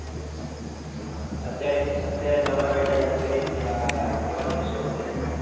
અત્યારે અત્યારે નવરા બેઠા યાદ કરીએ. તો આયહાય કેવા દિવસો હતા. એ